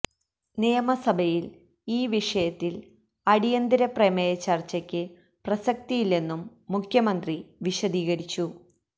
നിയമസഭയിൽ ഈ വിഷയത്തിൽ അടിയന്തര പ്രമേയ ചർച്ചക്ക് പ്രസക്തയില്ലെന്നും മുഖ്യമന്ത്രി വിശദീകരിച്ചു